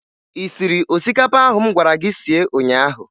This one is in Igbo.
Ị siri osikapa ahụ m gwara gị sie ụnyaahụ?